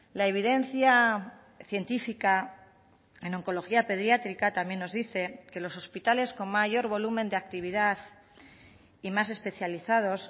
la evidencia científica en oncología pediátrica también nos dice que los hospitales con mayor volumen de actividad y más especializados